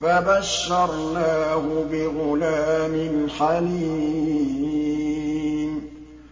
فَبَشَّرْنَاهُ بِغُلَامٍ حَلِيمٍ